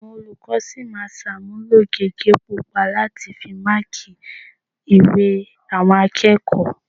Àwọn olùkọ́ sì máa ṣàmúlò gègé pupa láti fi máákì ìwé àwọn akẹ́kọ̀ọ́